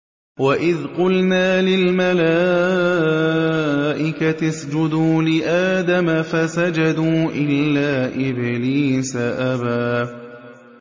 وَإِذْ قُلْنَا لِلْمَلَائِكَةِ اسْجُدُوا لِآدَمَ فَسَجَدُوا إِلَّا إِبْلِيسَ أَبَىٰ